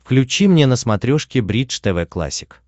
включи мне на смотрешке бридж тв классик